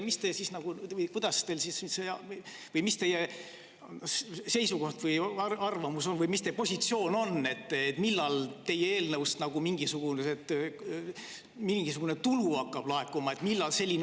Mis teie seisukoht või arvamus on, mis teie positsioon on, millal teie eelnõu tõttu mingisugune tulu hakkab laekuma?